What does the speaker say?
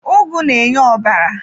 Ugu na-enye ọbara.